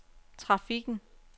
trafikken